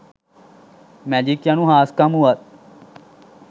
magic යනු හාස්කම් වුවත්